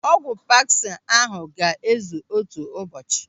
Ọgwụ paksi ahụ ga-ezu otu ụbọchị.